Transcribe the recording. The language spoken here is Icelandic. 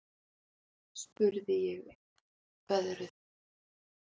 spurði ég uppveðruð.